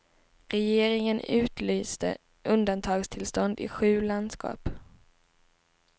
Regeringen utlyste undantagstillstånd i sju landskap.